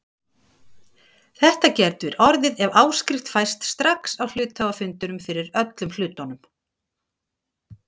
Þetta getur orðið ef áskrift fæst strax á hluthafafundinum fyrir öllum hlutunum.